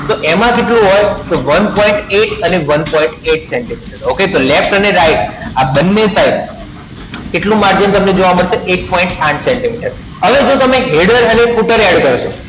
તો એમાં કેટલું હોયે one point eight અને one point eight centimetre okay તો laft અને right આ બને સાઇડ કેટલું margin જોવા મડ્સે એક point આઠ સેન્ટીમીટર હવે એમાં તમે header અને footer add કરશો